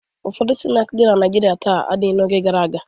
Ụfọdụ snaakị dị na Naịjirịa taa adịghị n'oge gara aga.